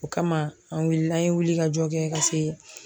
O kama an wulila an ye wuli ka jɔ kɛ ka se